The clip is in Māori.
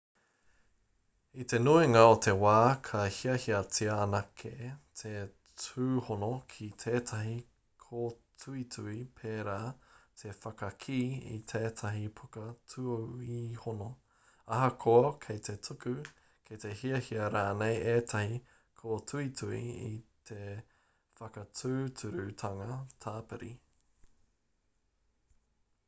i te nuinga o te wā ka hiahiatia anake te tūhono ki tētahi kōtuitui pērā te whakakī i tētahi puka tuihono ahakoa kei te tuku kei te hiahia rānei ētahi kōtuitui i te whakatūturutanga tāpiri